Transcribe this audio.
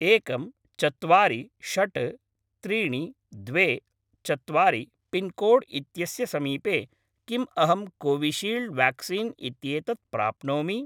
एकं चत्वारि षट् त्रीणि द्वे चत्वारि १४६३२४ पिन्कोड् इत्यस्य समीपे किम् अहं कोविशील्ड् व्याक्सीन् इत्येतत् प्राप्नोमि?